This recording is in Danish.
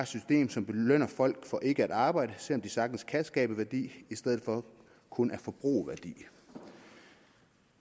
system som belønner folk for ikke at arbejde selv om de sagtens kan skabe værdi i stedet for kun at forbruge værdi